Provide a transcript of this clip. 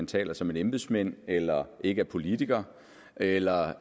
taler som en embedsmand eller ikke er politiker eller